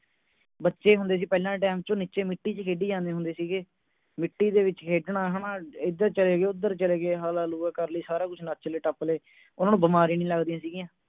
ਬੱਚੇ ਹੁੰਦੇ ਸੀ ਪਹਿਲਾਂ ਦੇ time ਚ ਉਹ ਨੀਚੇ ਮਿੱਟੀ ਚ ਖੇਡੀ ਜਾਂਦੇ ਹੁੰਦੇ ਸੀਗੇ ਮਿੱਟੀ ਦੇ ਵਿੱਚ ਖੇਡਣਾ ਹੈ ਨਾ ਹੈਦਰ ਚਲੇ ਗਏ ਉਧਰ ਚਲੇ ਗਏ ਹਲਾ ਲੂਆ ਕਰ ਲਈ ਸਾਰਾ ਕੁਝ ਨੱਚ ਲਏ ਟੱਪ ਲਏ ਉਨ੍ਹਾਂ ਨੂੰ ਬਿਮਾਰੀ ਨਹੀਂ ਲਗਦੀ ਸੀ ਗਿਆ